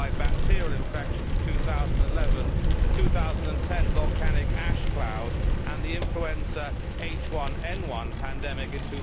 coli bacterial infections of 2011, the 2010 volcanic ash cloud and the influenza H1N1 pandemic in